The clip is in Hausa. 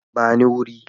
Ba ni wurin